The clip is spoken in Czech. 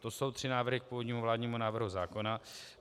To jsou tři návrhy k původnímu vládnímu návrhu zákona.